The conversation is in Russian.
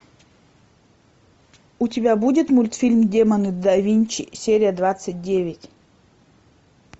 у тебя будет мультфильм демоны да винчи серия двадцать девять